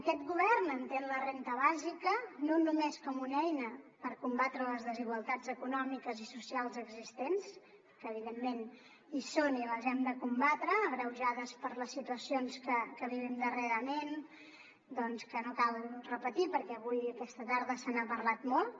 aquest govern entén la renda bàsica no només com una eina per combatre les desigualtats econòmiques i socials existents que evidentment hi són i les hem de combatre agreujades per les situacions que vivim darrerament que no cal repetir perquè avui aquesta tarda se n’ha parlat molt